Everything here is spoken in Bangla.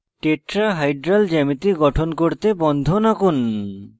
tetrahedral geometry গঠন করতে বন্ধন আঁকুন